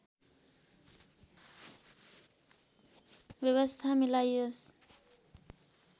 व्यवस्था मिलाइयोस्